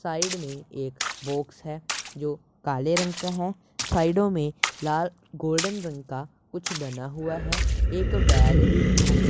Side में एक box है जो काले रंग का हैं साइडोमें में लाल गोल्डन रंग का कुछ बना हुआ है एक बैग भी रखा है।